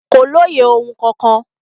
Kò lóye ohun kankan.